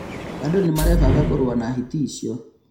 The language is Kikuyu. Andũ nĩmarebanga kũrũa na hiti icio